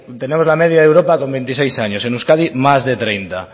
tenemos la media de europa con veintiséis años en euskadi más de treinta